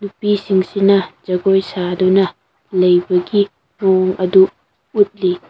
ꯁꯤꯡꯁꯤꯅ ꯖꯒꯣꯏ ꯁꯥꯗꯨꯅ ꯂꯩꯕꯒꯤ ꯃꯑꯣꯡ ꯑꯗꯨ ꯎꯠꯂꯤ꯫